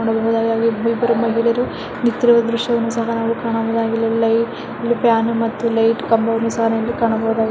ನೋಡಬಹುದಾಗಿದೆ ಇಲ್ಲಿ ಮಹಿಳೆಯರು ನಿಂತುಕೊಂಡಿರುವುದನನ್ನು ದೃಶ್ಯವನ್ನು ಸಹ ನಾವಿಲ್ಲಿ ಕಾಣಬಹುದಾಗಿದೆ ಲೈಟನ್ನು ಫ್ಯಾನ್ ಮತ್ತು ಲೈಟ್ ಕಂಬವನ್ನು ಸಹ ನಾವಿಲ್ಲಿ ಕಾಣಬಹುದಾಗಿದೆ.